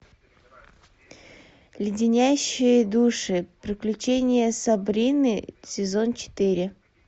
леденящие души приключения сабрины сезон четыре